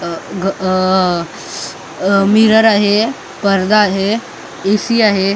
अ ग अ अ मिरर आहे परदा आहे ए_सी आहे.